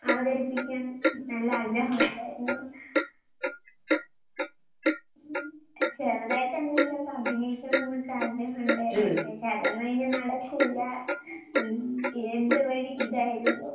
അവതരിപ്പിക്കാൻ നല്ല ആഗ്രഹോണ്ടായിരുന്നു. ഉം ചെറുതായിട്ടെന്തെങ്കിലുവൊക്കെ അഭിനയിക്കണോന്നൊക്കെ ആഗ്രഹോണ്ടായിരുന്നു. പക്ഷെ അതൊന്നും ഇനി നടക്കൂല്ല. ഉം എന്റെ വഴി ഇതായിരുന്നു.